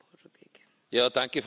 Frau Präsidentin!